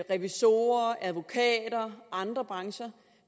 revisorer advokater og andre brancher